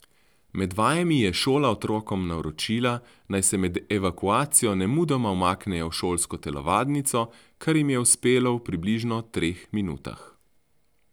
Med vajami je šola otrokom naročila, naj se med evakuacijo nemudoma umaknejo v šolsko telovadnico, kar jim je uspelo v približno treh minutah.